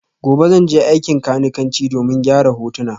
Gobe ​​zan je aikin kanikanci domin gyara hutuna